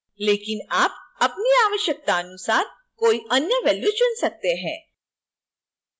लेकिन आप अपनी आवश्यकतानुसार कोई any value चुन सकते हैं